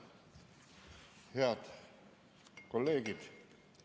Head kolleegid!